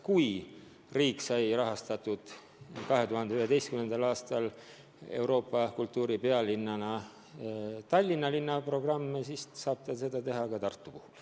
Kui riik sai 2011. aastal rahastatud Tallinna kui Euroopa kultuuripealinna programmi, siis saab ta seda teha ka Tartu puhul.